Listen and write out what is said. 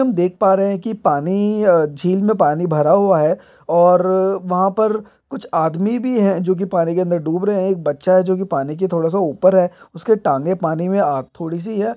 हम देख पा रहे है की पानी अ झील में पानी भरा हुआ है और वहा पर कुछ आदमी भी है जो की पानी के अंदर डूब रहे है एक बच्चा है जो की पानी की थोडा सा ऊपर है उसकी टांगे पानी आ थोडी सी है।